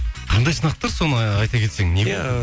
қандай сынақтар соны айта кетсең